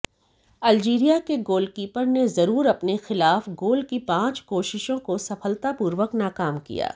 Algeria के goalkeeper ने जरूर अपने खिलाफ गोल की पांच कोशिशों को सफलतापूर्वक नाकाम किया